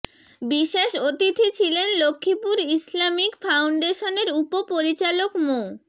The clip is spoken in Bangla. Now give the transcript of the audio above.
বিশেষ অতিথি ছিলেন লক্ষ্মীপুর ইসলামিক ফাউন্ডেশনের উপ পরিচালক মো